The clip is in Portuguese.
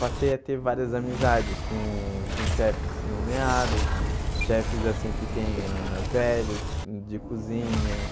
Passei a ter várias amizades com com chefes nomeados, chefes assim que tem ah velhos de cozinha,